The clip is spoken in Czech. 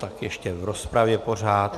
Tak ještě v rozpravě pořád.